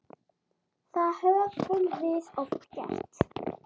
Það höfum við oft gert.